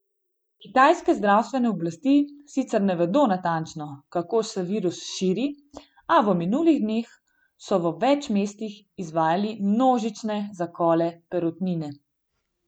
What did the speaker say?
Kitajske zdravstvene oblasti sicer ne vedo natančno, kako se virus širi, a v minulih dneh so v več mestih izvajali množične zakole perutnine.